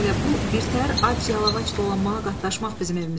Elə bu birtəhər ac-yalavac dolanmağa qatlaşmaq bizim evimizi yıxıb.